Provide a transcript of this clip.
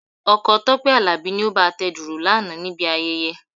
Ọkọ Tọ́pẹ́ Àlàbí ni ó bá a tẹ dùrù lánàá níbi ayẹyẹ.